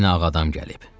Yenə ağ adam gəlib.